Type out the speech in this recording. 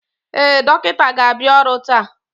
Ee, dọkịta ga-abịa ọrụ taa